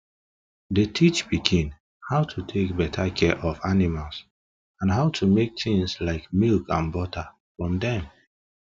dey teach pikin how to take better care of animals and how to make things like milk and butter from dem